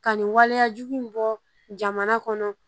Ka nin waleyajugu in bɔ jamana kɔnɔ